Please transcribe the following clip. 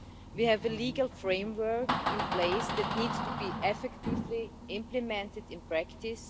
We have a legal framework in place that needs to be effectively implemented in practice.